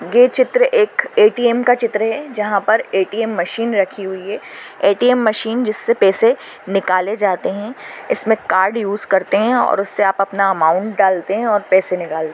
ये चित्र एक ए_टी_एम का चित्र है जहाँ पर ए_टी_एम मशीन रखी हुए है ए_टी_एम मशीन जिससे पैसे निकाले जाते है इसमे कार्ड यूज़ करते है और उससे आप अपना अमाउंट डालते है और पैसे निकाल--